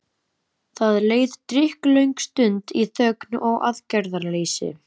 Það leið drykklöng stund í þögn og aðgerðaleysi.